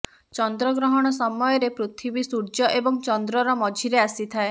ଚନ୍ଦ୍ରଗ୍ରହଣ ସମୟରେ ପୃଥିବୀ ସୂର୍ଯ୍ୟ ଏବଂ ଚନ୍ଦ୍ରର ମଝିରେ ଆସିଥାଏ